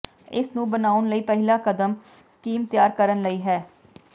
ਇਸ ਨੂੰ ਬਣਾਉਣ ਲਈ ਪਹਿਲਾ ਕਦਮ ਸਕੀਮ ਤਿਆਰ ਕਰਨ ਲਈ ਹੈ